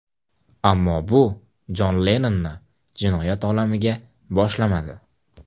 Ammo bu Jon Lennonni jinoyat olamiga boshlamadi.